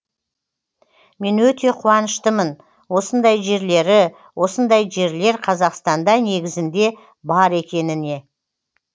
мен өте қуаныштымын осындай жерлері осындай жерлер қазақстанда негізінде бар екеніне